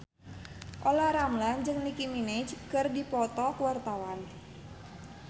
Olla Ramlan jeung Nicky Minaj keur dipoto ku wartawan